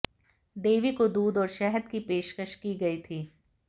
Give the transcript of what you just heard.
देवी को दूध और शहद की पेशकश की गई थी